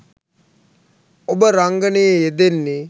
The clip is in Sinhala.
ඔබ රංගනයේ යෙදෙන්නේ